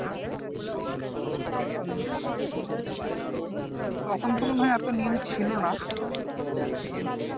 তখন কি মনে হয় আর তো link ছিলোনা